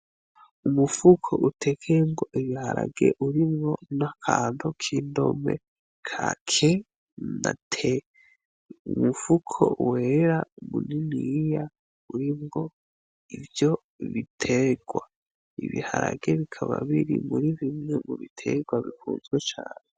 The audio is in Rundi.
Umufuko utekeyemwo ibiharage urimwo n'akantu k'indome ka: k na t. Umufuko wera muniniya urimwo ivyo biterwa, ibiharage bikaba biri muri bimwe mu biterwa bikunzwe cane.